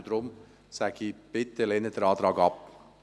Deshalb: Lehnen Sie den Antrag bitte ab.